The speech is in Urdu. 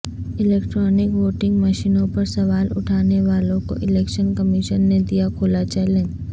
الیکٹرانک ووٹنگ مشینوں پر سوال اٹھانے والوں کو الیکشن کمیشن نے دیا کھلا چیلنج